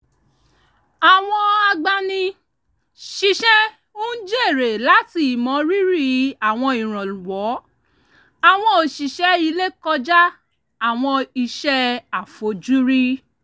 àwọn agbani-síṣẹ́ ń jèrè láti ìmọ rírì àwọn ìrànwọ́ àwọn òṣìṣẹ́ ilé kọjá àwọn iṣẹ́ àfojúrí